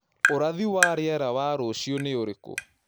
ũrathi wa rĩera wa rũcĩũ nĩ ũrĩkũ